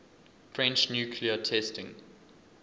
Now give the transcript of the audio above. french nuclear testing